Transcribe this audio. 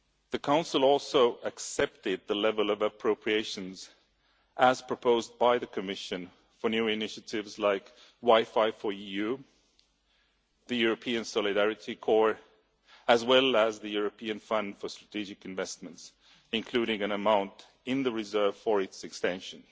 The Council also accepted the level of appropriations as proposed by the Commission for new initiatives like WiFi4EU, the European Solidarity Corps, as well as the European Fund for Strategic Investments, including an amount in the reserve for its extension.